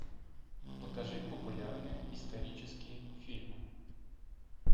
покажи популярные исторические фильмы